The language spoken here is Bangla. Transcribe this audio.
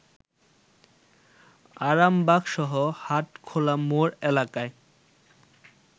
আরামবাগসহ হাটখোলা মোড় এলাকায়